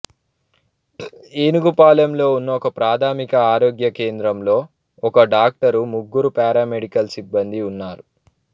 ఏనుగుపాలెంలో ఉన్న ఒకప్రాథమిక ఆరోగ్య కేంద్రంలో ఒక డాక్టరు ముగ్గురు పారామెడికల్ సిబ్బందీ ఉన్నారు